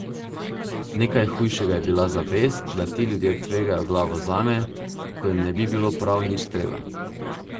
Nekaj najhujšega je bila zavest, da ti ljudje tvegajo glavo zame, ko jim ne bi bilo prav nič treba.